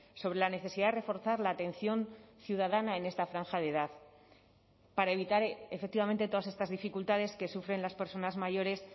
sobre la necesidad de reforzar la atención ciudadana en esta franja de edad para evitar efectivamente todas estas dificultades que sufren las personas mayores